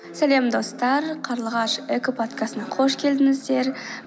салем достар карлығаш эко подкастына қош келдіңіздер